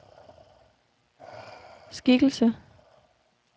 skikkelse